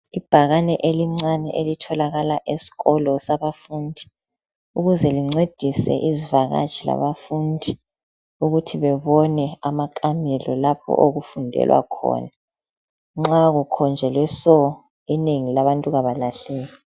Ibhakane elincane elitholakala eskolo saba fundi. Ukuze lincedise izivakatshi labafundi. Ukuthi bebone amakamelo lapho okufundelwa khona. Nxa kukhonjelwe so, inengi labantu abalahleki.